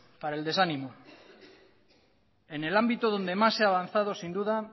para el desánimo en el ámbito donde más se ha avanzado sin duda